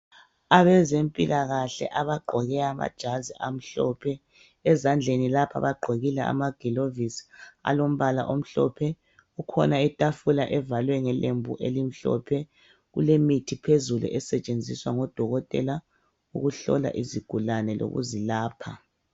Abazempilakahle abagqoke amajazi omhlophe, ezandleni lapha bagqokile amagilovisi alombala omhlophe kukhona itafula evalwe ngelembu elimhlophe kulemithi phezulu esetshiswa ngodokotela ukuhlola izigulane lokuzilapha.